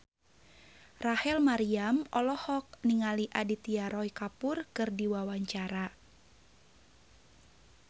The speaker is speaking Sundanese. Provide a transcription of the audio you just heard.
Rachel Maryam olohok ningali Aditya Roy Kapoor keur diwawancara